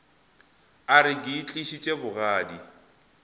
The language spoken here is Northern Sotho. a re ke itlišitše bogadi